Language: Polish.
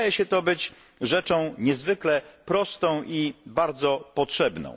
Wydaje się to być rzeczą niezwykle prostą i bardzo potrzebną.